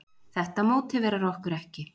Þetta mótiverar okkur ekki.